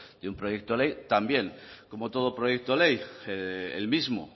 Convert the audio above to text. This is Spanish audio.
de un proyecto de ley también como todo proyecto ley el mismo